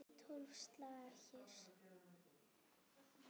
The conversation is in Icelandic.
Tólf slagir!